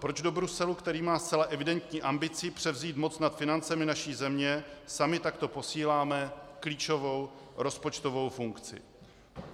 Proč do Bruselu, který má zcela evidentní ambici převzít moc nad financemi naší země, sami takto posíláme klíčovou rozpočtovou funkci?